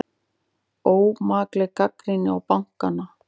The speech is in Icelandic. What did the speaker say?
Ómakleg gagnrýni á bankana